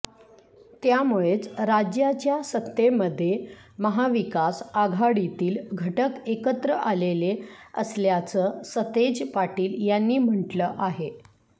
त्यामुळेच राज्याच्या सत्तेमध्ये महाविकास आघाडीतील घटक एकत्र आलेले असल्याचं सतेज पाटील यांनी म्हटलं आहे